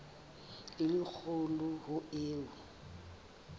e le kgolo ho eo